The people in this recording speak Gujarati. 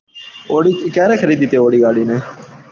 audi તે ક્યારે ખરીદી તે audi ગાડી ને